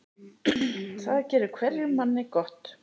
Það gerir hverjum manni gott.